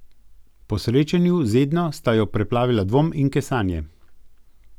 Po srečanju z Edno sta jo preplavila dvom in kesanje.